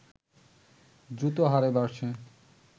দ্রুত হারে বাড়ছে